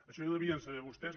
això ja ho devien saber vostès